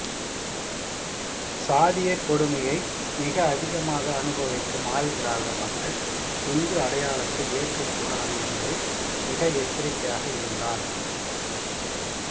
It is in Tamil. சாதியக்கொடுமையை மிக அதிகமாக அனுபவிக்கும் ஆதிதிராவிட மக்கள் இந்து அடையாளத்தை ஏற்கக்கூடாது என்பதில் மிக எச்சரிக்கையாக இருந்தார்